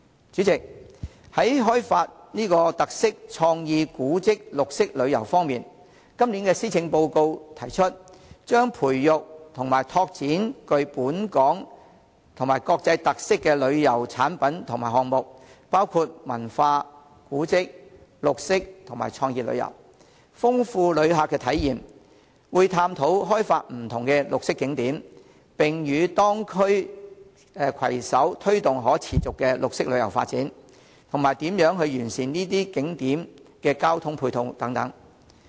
主席，在開發特色、創意、古蹟、綠色旅遊方面，今年施政報告提出，將培育及拓展具本港及國際特色的旅遊產品及項目，包括文化、古蹟、綠色及創意旅遊，豐富旅客體驗，會探討開發不同的綠色景點，並與當區攜手推動可持續的綠色旅遊發展，以及如何完善這些景點的交通配套等。